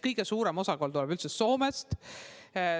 Kõige suurem osakaal tuleb üldse Soomest.